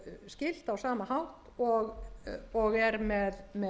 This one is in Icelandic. skipulagsskylt á sama hátt og er með